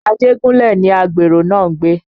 Ajegunle ni àgbèrè náà ń gbé